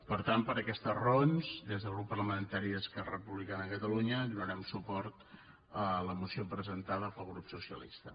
per tant per aquestes raons des del grup parlamentari d’esquerra republicana de catalunya donarem suport a la moció presentada pel grup socialista